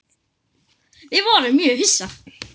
Við vorum mjög hissa.